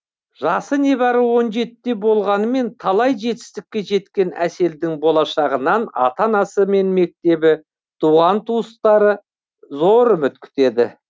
жасы небары он жетіде де болғанымен талай жетістікке жеткен әселдің болашағынан ата анасы мен мектебі туған туыстары зор үміт күтеді